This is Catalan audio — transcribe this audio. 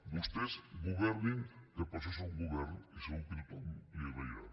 vostès governin que per això són govern i segur que tothom li ho agrairà